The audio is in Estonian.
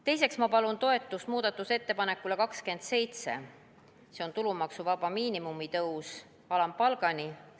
Teiseks palun toetust muudatusettepanekule nr 27, tulumaksuvaba miinimumi tõus alampalgani.